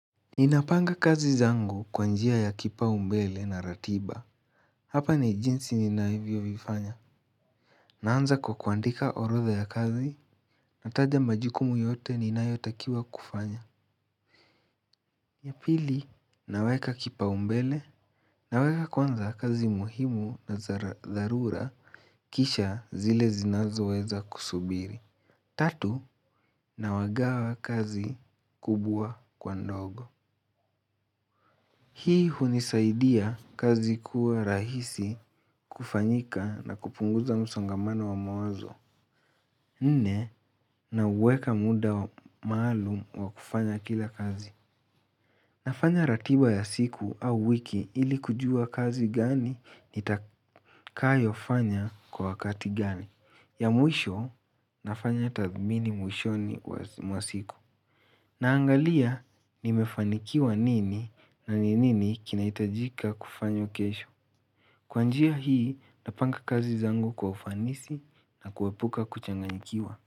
Ninapanga kazi zangu kwa njia ya kipaumbele na ratiba, hapa ni jinsi ninavyovifanya. Naanza kwa kuandika orodha ya kazi, nataja majukumu yote ninayotakiwa kufanya. Ya pili, naweka kipaumbele, naweka kwanza kazi muhimu na za dharura kisha zile zinazoweza kusubiri. Tatu, nawagawa kazi kubwa kwa ndogo. Hii hunisaidia kazi kuwa rahisi kufanyika na kupunguza msongamano wa mawazo. Nne, naweka muda maalum wa kufanya kila kazi. Nafanya ratiba ya siku au wiki ili kujua kazi gani nitakayofanya kwa wakati gani. Ya mwisho, nafanya tathmini mwishoni mwa siku. Naangalia nimefanikiwa nini na ni nini kinaihtajika kufanya kesho. Kwa njia hii napanga kazi zangu kwa ufanisi na kuepuka kuchanganikiwa.